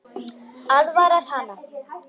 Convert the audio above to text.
Aðvarar hana.